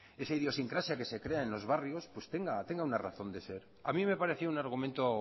esa idiosincrasia que se crea en los barrios pues tenga una razón de ser a mí me ha pareció un argumento